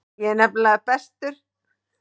Ég er nefnilega bestur.